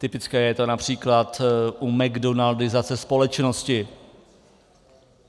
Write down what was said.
Typické je to například u mcdonaldizace společnosti.